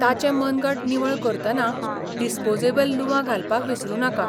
ताचें मनगट निवळ करतना डिस्पोजेबल लुवां घालपाक विसरूं नाका.